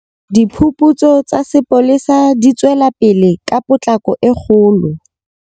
Diphuputso tsa sepolesa di tswelapele ka potlako e kgolo.